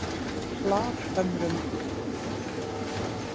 Hlaðhömrum